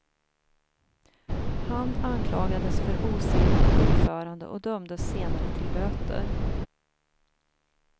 Han anklagades för osedligt uppförande och dömdes senare till böter.